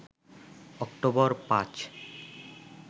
October ৫